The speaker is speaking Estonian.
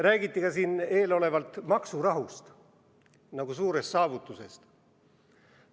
Räägiti siin eelnevalt ka maksurahust nagu suurest saavutusest.